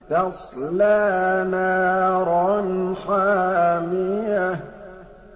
تَصْلَىٰ نَارًا حَامِيَةً